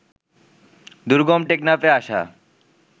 দুর্গম টেকনাফে আসা